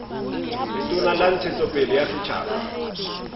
letona la ntshetsopele ya setjhaba